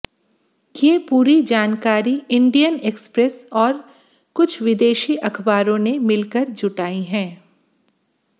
ये पूरी जानकारी इंडियन एक्सप्रेस और कुछ विदेशी अखबारों ने मिलकर जुटाई है